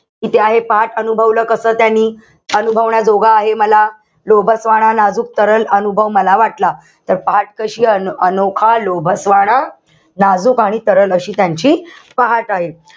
किती आहे पहाट अनुभवलं कसं त्यांनी. अनुभवण्याजोगं आहे मला. लोभसवाणा नाजूक तरल अनुभव मला वाटला. तर पहाट कशी अन अनोखा लोभसवाणा नाजूक आणि तरल अशी त्यांची पहाट आहे.